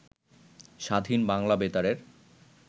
স্বাধীন বাংলা বেতারের